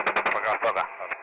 Paqa, paqa.